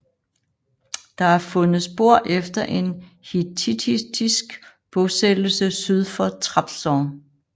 Der er fundet spor efter en hittittisk bosættelse syd for Trabzon